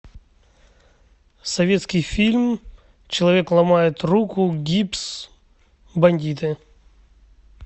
советский фильм человек ломает руку гипс бандиты